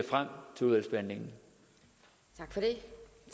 frem til udvalgsbehandlingen af det